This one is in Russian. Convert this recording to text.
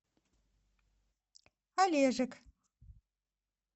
олежек